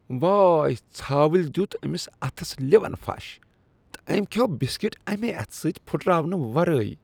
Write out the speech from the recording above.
وٲے، ژھاوٕلۍ دیت أمس اتھس لٮ۪ون پھش، تہٕ أمۍ کھیوٚو بسکٹ امی اتھ سۭتۍ پھٔٹراونہٕ ورٲے۔